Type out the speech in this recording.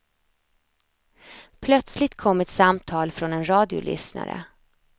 Plötsligt kom ett samtal från en radiolyssnare.